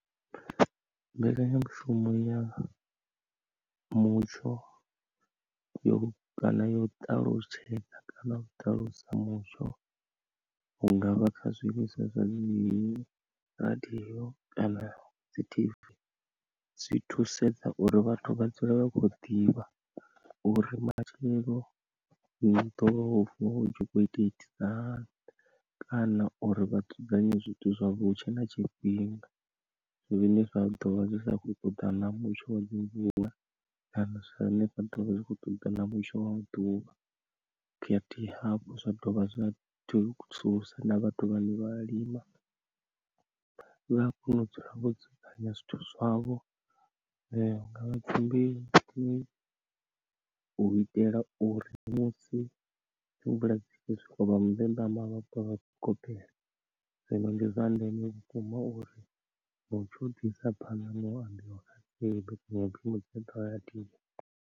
Mbekanya mushumo ya mutsho yo kana yo ṱalutshedza kana u ṱalusa mutsho, hungavha kha zwiimiswa zwa dzi radio kana dzi tv zwi thusedza uri vhathu vha dzule vha khou ḓivha uri matshelo ḽi ḓo vuwa utshi kho ita itisa hani, kana uri vha dzudzanye zwithu zwavho hutshe na tshifhinga zwine zwa ḓovha zwi sa kho ṱoḓana na mutsho wa dzi mvula, kana zwane zwa ḓovha zwi kho ṱoḓana mutsho wa ḓuvha, khathihi hafhu zwa dovha zwa thusa na vhathu vha ne vha lima vha kone u dzula vho dzudzanya zwithu zwavho, hungavha dzimbeu u itela uri musi mvula dza soko swika hune dza na vha soko gobela, zwino ndi zwa ndeme vhukuma uri mutsho u ḓi isa phanda na u ambiwa, ndi mbekanya mushumo ya vhuḓi badi.